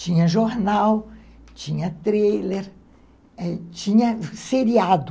Tinha jornal, tinha trailer, tinha seriado.